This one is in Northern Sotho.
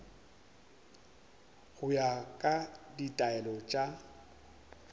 go ya ka ditaelo tša